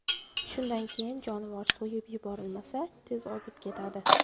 Shundan keyin jonivor so‘yib yuborilmasa, tez ozib ketadi.